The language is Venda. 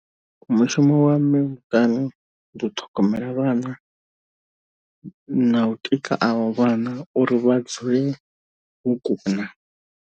Mushumo wa mme muṱani ndi u ṱhogomela vhana, na u tika avho vhana uri vha dzule vho kuna.